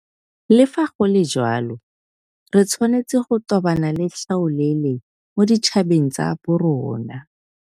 Le fa go le jalo, re tshwanetse go tobana le tlhaolele mo ditšhabeng tsa borona.